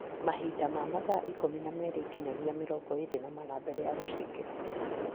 Mahinda ma mathaa ikũmi na merĩ nginyagia mĩrongo ĩrĩ na mana mbere ya gũciĩkĩra.